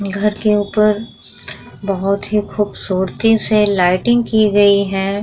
घर के ऊपर बहुत ही खूबसूरती से लाइटिंग की गई है।